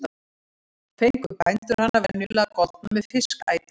Fengu bændur hana venjulega goldna með fiskæti.